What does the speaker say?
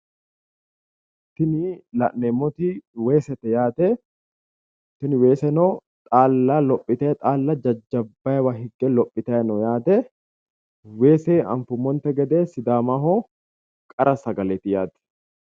Tini la'neemmoti weesete yaate tini weeseno xaalla lophite xaalla jajjabbayiiwa higge lophitayi no yaate weese anfummonte gede sidaamaho qara sagaleeti yaate